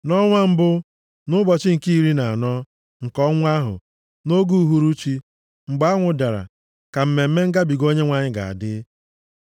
Nʼọnwa mbụ, nʼụbọchị nke iri na anọ nke ọnwa ahụ, nʼoge uhuruchi, mgbe anwụ dara, ka Mmemme Ngabiga Onyenwe anyị ga-adị.